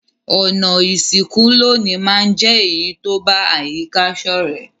Ònà ìsìnkú loní ma n je èyí to ba àyíká sọ̀rẹ́